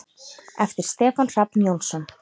eftir Stefán Hrafn Jónsson